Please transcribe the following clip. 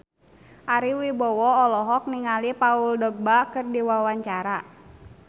Ari Wibowo olohok ningali Paul Dogba keur diwawancara